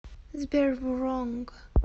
сбер вронг